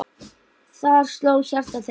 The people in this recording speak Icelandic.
Þar sló hjarta þeirra.